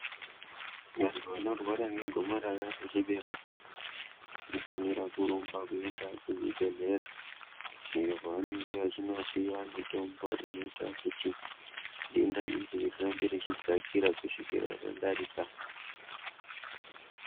Vantu vanorwara ngegomarara rechibereko, vanofanira kurumba kuenda kuchibhedhlera, iyo kwavanenge vechinopiwa mitombo inoita kuti denda iri rirambe rechidzakira kusvikira radarika.